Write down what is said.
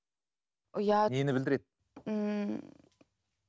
ұят нені білдіреді ммм